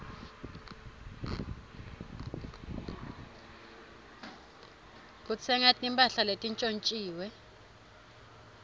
kutsenga timphahla letintjontjiwe